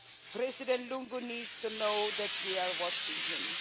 President Lungu needs to know that we are watching him.